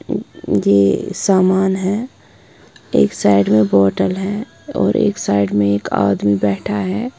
अ ये सामान है एक साइड में बोतल है और एक साइड में एक आदमी बैठा है।